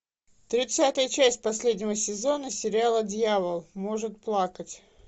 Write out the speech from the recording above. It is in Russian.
тридцатая часть последнего сезона сериала дьявол может плакать